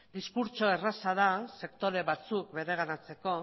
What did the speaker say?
diskurtsoa erraza da sektore batzuk bereganatzeko